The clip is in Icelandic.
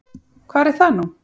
Hvar er það nú?